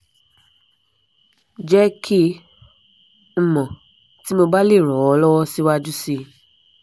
je ki n mo ti mo ba le ran o lowo siwaju si